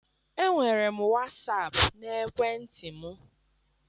Enwere m wasap n'ekwentị m.